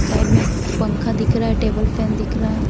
Side में पंखा दिख रहा है टेबल फैन दिख रहा है।